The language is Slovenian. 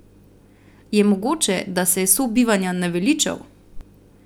Je mogoče, da se je sobivanja naveličal?